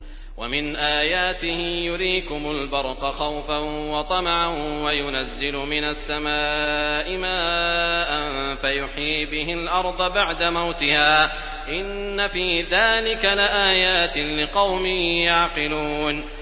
وَمِنْ آيَاتِهِ يُرِيكُمُ الْبَرْقَ خَوْفًا وَطَمَعًا وَيُنَزِّلُ مِنَ السَّمَاءِ مَاءً فَيُحْيِي بِهِ الْأَرْضَ بَعْدَ مَوْتِهَا ۚ إِنَّ فِي ذَٰلِكَ لَآيَاتٍ لِّقَوْمٍ يَعْقِلُونَ